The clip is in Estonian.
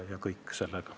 Taavi Rõivas.